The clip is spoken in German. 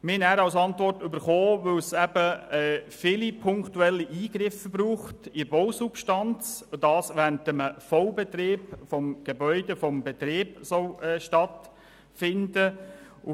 Wir haben als Antwort erhalten, dass es viele punktuelle Eingriffe in die Bausubstanz brauche, die während des Vollbetriebs des Gebäudes stattfinden sollen.